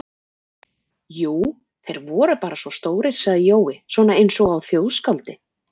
Jú, þeir voru bara svo stórir sagði Jói, svona einsog á þjóðskáldi